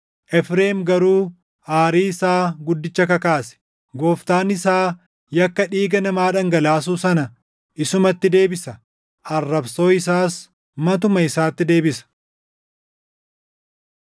Efreem garuu aarii isaa guddicha kakaase; Gooftaan isaa yakka dhiiga namaa dhangalaasuu sana // isumatti deebisa; arrabsoo isaas matuma isaatti deebisa.